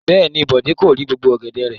Bẹ́ẹ̀ ni, Bọ̀dé kórè gbogbo ọ̀gẹ̀dẹ̀ rẹ̀.